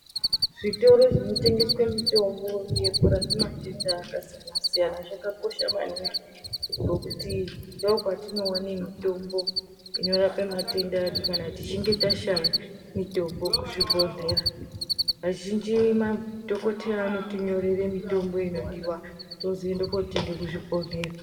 Zvitoro zvinotengeswe mitombo yekurape matenda akasiyana siyana zvakakosha maningi ngokuti ndokwatinowane mitombo inorape matenda edu kana tichinge tashaya mitombo kuzvibhedhlera kazhinji ma dhokoteya anotinyorere mitombo inodiwa tozoende kotenga kubhedhleya